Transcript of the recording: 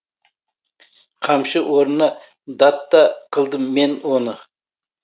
қамшы орнына дат та қылдым мен оны